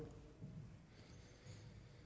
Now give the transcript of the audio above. i